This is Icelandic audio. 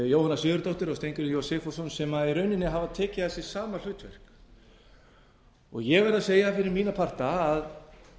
jóhanna sigurðardóttir og steingrímur j sigfússon sem í rauninni hafa tekið að sér sama hlutverk ég verð að segja fyrir mína parta að